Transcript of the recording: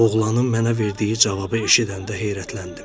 Oğlanın mənə verdiyi cavabı eşidəndə heyrətləndim.